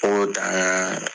O dan